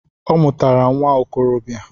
Ọ mụtara nwa okorobia